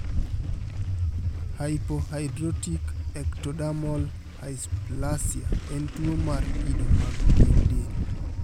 Hypohidrotic ectodermal dysplasia en tuo mar kido mag pien del.